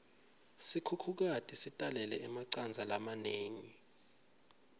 sikhukhukati sitalele emacandza lamanengi